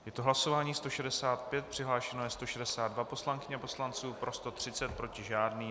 Je to hlasování 165, přihlášeno je 162 poslankyň a poslanců, pro 130, proti žádný.